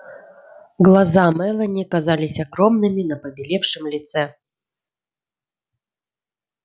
глаза мелани казались огромными на побелевшем лице